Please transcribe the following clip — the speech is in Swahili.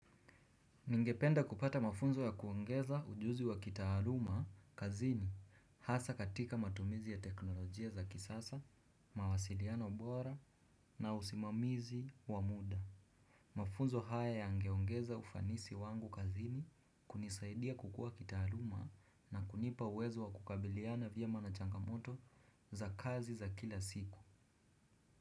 Ningependa kupata mafunzo ya kuongeza ujuzi wa kitaaluma kazini. Hasa katika matumizi ya teknolojia za kisasa, mawasiliano bora na usimamizi wa muda mafunzo haya yangeongeza ufanisi wangu kazini kunisaidia kukua kitaaluma na kunipa uwezo wa kukabiliana vyema na changamoto za kazi za kila siku.